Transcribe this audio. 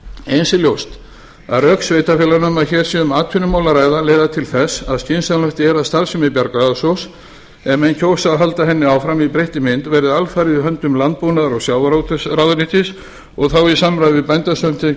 eins er ljóst að rök sveitarfélaganna að hér sé um atvinnumál að ræða leiða til þess að skynsamlegt er að starfsemi bjargráðasjóðs ef menn kjósa að halda henni áfram í breyttri mynd verði alfarið í höndum landbúnaðar og sjávarútvegsráðuneytis og þá í samráði við bændasamtökin